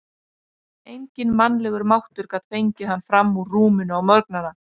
Enginn mannlegur máttur gat fengið hann fram úr rúminu á morgnana.